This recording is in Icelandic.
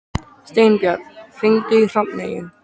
Steinbjörn, hringdu í Hrafneyju.